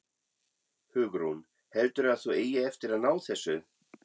Hugrún: Heldurðu að þú eigir eftir að ná þessu?